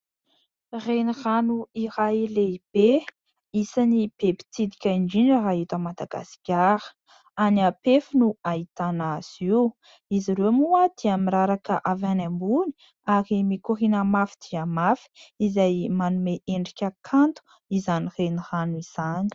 Renirano iray lehibe, isan'ny be mpitsidika indrindra raha eto Madagasikara. Any Ampefy no ahitana azy io ; izy ireo moa dia miraraka avy any ambony ary mikorina mafy dia mafy ; izay manome endrika kanto izany renirano izany.